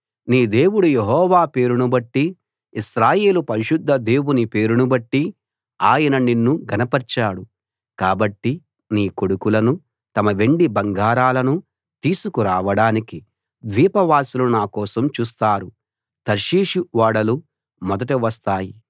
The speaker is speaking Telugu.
నీ దేవుడు యెహోవా పేరునుబట్టి ఇశ్రాయేలు పరిశుద్ధ దేవుని పేరును బట్టి ఆయన నిన్ను ఘనపర్చాడు కాబట్టి నీ కొడుకులను తమ వెండి బంగారాలను తీసుకురావడానికి ద్వీపవాసులు నా కోసం చూస్తారు తర్షీషు ఓడలు మొదట వస్తాయి